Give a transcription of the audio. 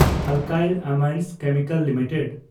alkyl Amines Chemicals limited